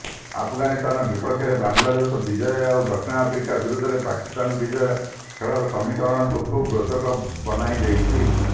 ଆଫଗାନିସ୍ତାନ ବିପକ୍ଷରେ ବାଲାଂଦେଶର ବିଜୟ ଆଉ ଦକ୍ଷିଣ ଆଫ୍ରିକା ବିରୋଧରେ ପାକିସ୍ତାନ ବିଜୟ ଖେଳର ସମୀକରଣକୁ ଖୁବ୍ ରୋଚକ ବନାଇଦେଇଛି